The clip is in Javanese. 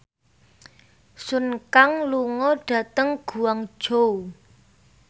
Sun Kang lunga dhateng Guangzhou